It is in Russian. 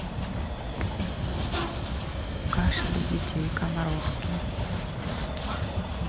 кашель у детей комаровский